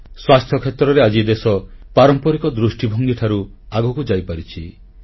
ସ୍ୱାସ୍ଥ୍ୟ କ୍ଷେତ୍ରରେ ଆଜି ଦେଶ ପାରମ୍ପରିକ ଦୃଷ୍ଟିଭଙ୍ଗୀ ଠାରୁ ଆଗକୁ ଯାଇପାରିଛି